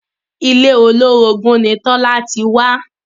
Ilé olórogún ni Tola ti wá